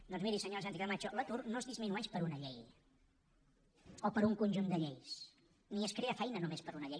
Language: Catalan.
doncs miri senyora sánchez camacho l’atur no es disminueix per una llei o per un conjunt de lleis ni es crea feina només per una llei